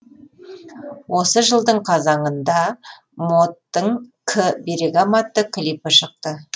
осы жылдың қазанында моттың к берегам атты клипі шықты